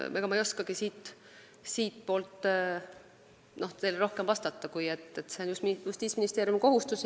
Ega ma ei oskagi teile rohkem vastata kui seda, et see on Justiitsministeeriumi kohustus.